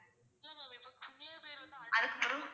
அதுக்கு பிறகு